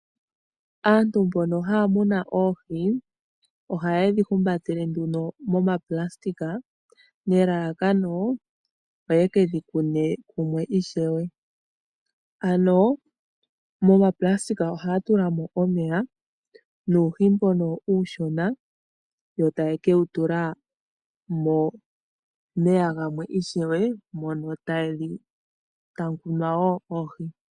Aantu mbono haya munu oohi, ohaye dhi humbatele momaplastika nelalakano opo yekedhi kunu palwe ishewe, ano moonayilona ohaya tula mo omeya nuuhi mbono uushona, yo taye ke wu tula momeya gamwe ishewe mono tamu kunwa woo oohi.